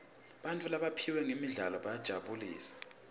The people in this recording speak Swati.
bantfu labaphiwe ngemidlalo bayasijabulisa